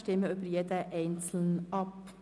Wir stimmen über jeden Antrag einzeln ab.